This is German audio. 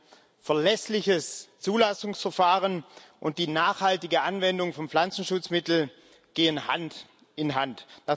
Ein verlässliches Zulassungsverfahren und die nachhaltige Anwendung von Pflanzenschutzmitteln gehen Hand in Hand.